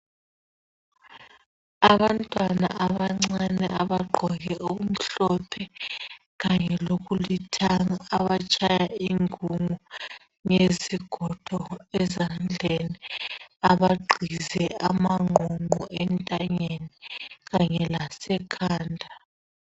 Abantwana abancane abagqoke okumhlophe kanye lokulithanga abatshaya ingungu ngezigodo ezandleni abagqize amangqonqo entanyeni kanye lasekhanda